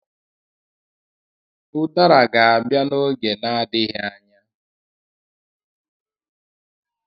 Udara ga-abịa n'oge na-adịghị anya.